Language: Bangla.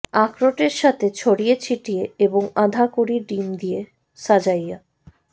আখরোটের সাথে ছড়িয়ে ছিটিয়ে এবং আধা কুঁড়ি ডিম দিয়ে সাজাইয়া